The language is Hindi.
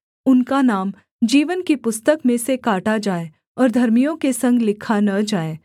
उनका नाम जीवन की पुस्तक में से काटा जाए और धर्मियों के संग लिखा न जाए